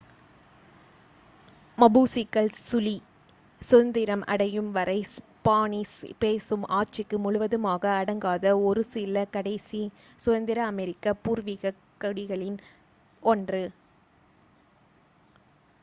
மபூசிக்கள் Chile சுதந்திரம் அடையும் வரை ஸ்பானிஷ் பேசும் ஆட்சிக்கு முழுவதுமாக அடங்காத ஒரு 1 சில கடைசி சுதந்திர அமெரிக்க பூர்வீகக் குடிகளில் ஒன்று